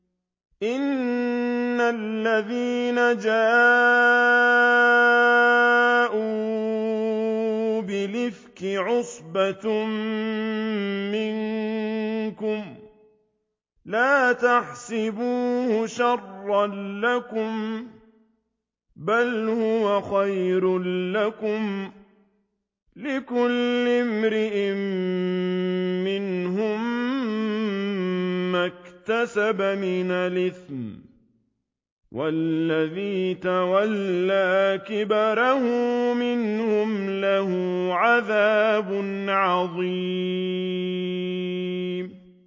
إِنَّ الَّذِينَ جَاءُوا بِالْإِفْكِ عُصْبَةٌ مِّنكُمْ ۚ لَا تَحْسَبُوهُ شَرًّا لَّكُم ۖ بَلْ هُوَ خَيْرٌ لَّكُمْ ۚ لِكُلِّ امْرِئٍ مِّنْهُم مَّا اكْتَسَبَ مِنَ الْإِثْمِ ۚ وَالَّذِي تَوَلَّىٰ كِبْرَهُ مِنْهُمْ لَهُ عَذَابٌ عَظِيمٌ